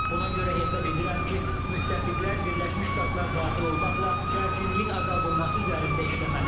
Buna görə hesab edirəm ki, müttəfiqlər Birləşmiş Ştatlar daxil olmaqla gərginliyin azaldılması üzərində işləməlidir.